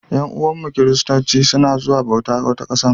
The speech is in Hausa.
Yan'uwanmu Kiristanci suna zuwa bauta wata ƙasar.